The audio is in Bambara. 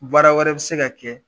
Baara wɛrɛ bɛ se ka kɛ